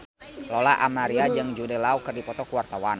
Lola Amaria jeung Jude Law keur dipoto ku wartawan